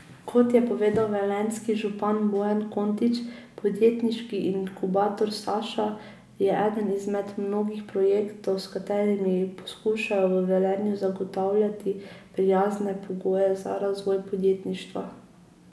Kot je povedal velenjski župan Bojan Kontič, Podjetniški inkubator Saša je eden izmed mnogih projektov, s katerimi poskušajo v Velenju zagotavljati prijazne pogoje za razvoj podjetništva.